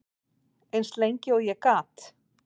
Eins lengi og ég gat.